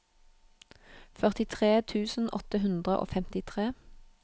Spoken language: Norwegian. førtitre tusen åtte hundre og femtitre